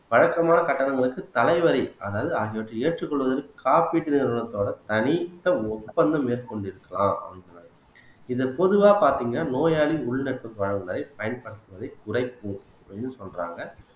வழக்கமான கட்டணங்களுக்கு தலை வரி அதாவது ஆகியவற்றை ஏற்றுக் கொள்வதில் காப்பீட்டு நிறுவனத்தோட தனித்த ஒப்பந்தம் மேற்கொள் கொண்டிருக்கலாம் அப்படினு இது பொதுவா பாத்தீங்கன்னா நோயாளி உள் நட்பு பலன்களை பயன்படுத்துவதை குறைக்கும் அப்படின்னு சொல்றாங்க